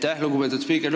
Aitäh, lugupeetud spiiker!